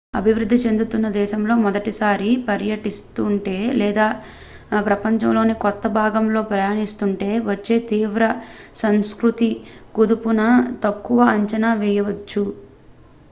అభివృద్ధి చెందుతున్న దేశంలో మొదటిసారి పర్యటిస్తుంటే లేదా ప్రపంచంలోని కొత్త భాగంలో ప్రయాణిస్తుంటే వచ్చే తీవ్ర సంస్కృతి కుదుపును తక్కువ అంచనా వేయవద్దు